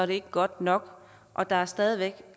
det ikke godt nok og der er stadig væk